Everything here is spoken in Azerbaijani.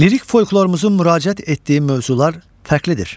Lirik folklorumuzun müraciət etdiyi mövzular fərqlidir.